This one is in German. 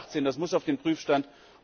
2018. Das muss auf den Prüfstand.